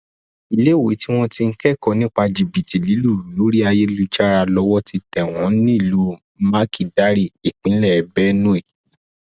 iléèwé tí wọn ti ń kẹkọọ nípa jìbìtì lílù lórí ayélujára lowó ti tẹ wọn nílùú makídarì ìpínlẹ benue